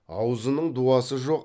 аузының дуасы жоқ